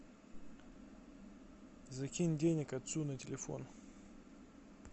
закинь денег отцу на телефон